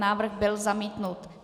Návrh byl zamítnut.